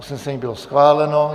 Usnesení bylo schváleno.